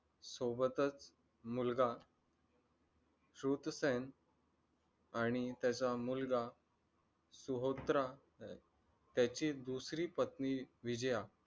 सोबतच मुलगा श्रुतसेन आणि त्यांचा मुलगा सोहत्र त्याची दुसरी पत्नी विजया,